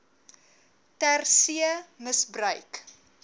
ter see misbruik